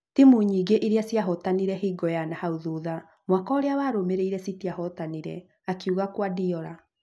Timũ nyingĩ iria ciahotanire hingo y anahau thutha, mwaka ũrĩa warũmĩrĩire citiahotire’’ akauga Kuardiola